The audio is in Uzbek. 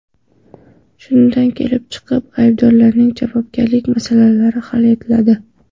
Shundan kelib chiqib, aybdorlarning javobgarlik masalasi hal etiladi.